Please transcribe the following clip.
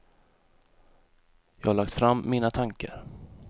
Jag har lagt fram mina tankar.